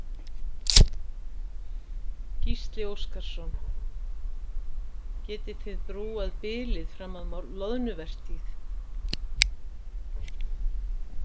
Gísli Óskarsson: Getiði þið brúað bilið fram að loðnuvertíð?